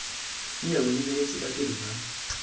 nne o lebeletse badiri ba